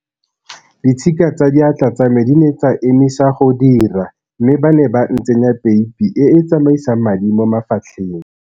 Ditshika tsa diatla tsa me di ne tsa emisa go dira mme ba ne ba ntsenya peipi e e tsamaisang madi mo mafatlheng.